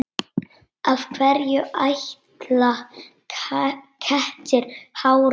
Af hverju æla kettir hárum?